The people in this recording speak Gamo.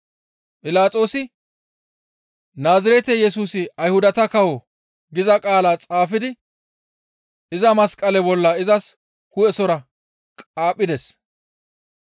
Philaxoosi, «Naazirete Yesusi Ayhudata kawo» giza qaala xaafidi iza masqale bolla izas hu7esora qaaphides.